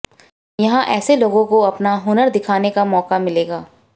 यहां ऐसे लोगों को अपना हुनर दिखाने का मौका मिलेगा